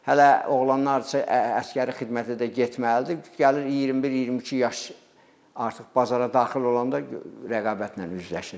Hələ oğlanlardırsa, əsgəri xidmətə də getməlidir, gəlir 21-22 yaş artıq bazara daxil olanda rəqabətlə üzləşir.